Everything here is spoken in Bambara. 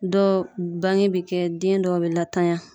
Dɔw bangebe kɛ den dɔw be latanya.